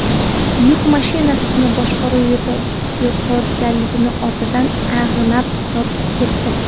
Yuk mashinasi boshqaruv yo‘qotilgani ortidan ag‘anab, yonib ketdi.